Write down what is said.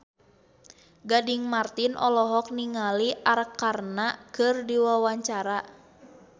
Gading Marten olohok ningali Arkarna keur diwawancara